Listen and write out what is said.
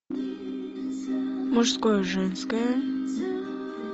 мужское женское